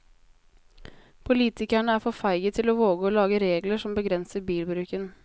Politikerne er for feige til å våge å lage regler som begrenser bilbruken.